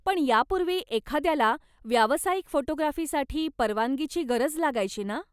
पण यापूर्वी एखाद्याला व्यावसायिक फोटोग्राफीसाठी परवानगीची गरज लागायची ना?